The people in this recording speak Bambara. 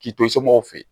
K'i to somɔgɔw fɛ yen